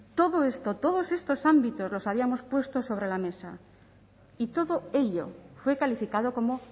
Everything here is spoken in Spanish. todo esto todos estos ámbitos los habíamos puesto sobre la mesa y todo ello fue calificado como